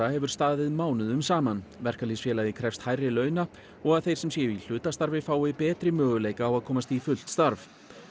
hefur staðið mánuðum saman verkalýðsfélagið krefst hærri launa og að þeir sem séu í hlutastarfi fái betri möguleika á að komast í fullt starf